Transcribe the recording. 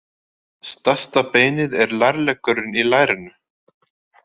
Stærsta beinið er lærleggurinn í lærinu.